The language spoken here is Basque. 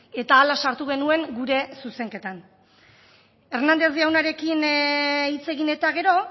eta hala sartu genuen gure zuzenketan hernández jaunarekin hitz egin eta gero